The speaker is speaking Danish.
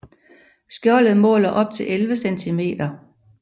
Skjoldet måler op til 11 cm